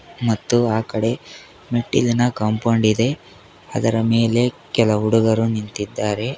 ಮತ್ತು ಆ ಕಡೆ ಮೆಟ್ಟಿಲಿನ ಕಾಂಪೌಂಡ್ ಇದೆ ಅದರ ಮೇಲೆ ಕೆಲ ಹುಡುಗರು ನಿಂತಿದ್ದಾರೆ.